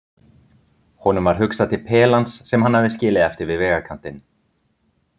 Honum varð hugsað til pelans sem hann hafði skilið eftir við vegarkantinn.